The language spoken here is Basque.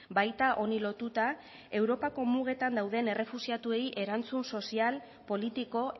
baita honi lotuta europako mugetan dauden errefuxiatuei erantzun sozial politiko